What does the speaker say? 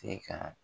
Se ka